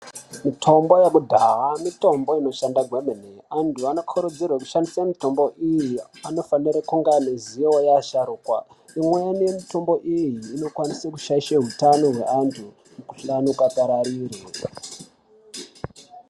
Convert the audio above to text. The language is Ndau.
Mitombo yekudhaya mitombo inoshanda gwemene. Antu anokurudzirwe kushandisa mitombo iyi, anofanire kunge aine zivo yeasharukwa. Imweni mitombo iyi inokwanise kushaishe utano hwevanhu, mukhuhlane ukapararire.